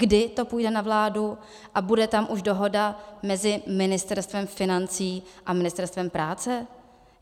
Kdy to půjde na vládu a bude tam už dohoda mezi Ministerstvem financí a Ministerstvem práce?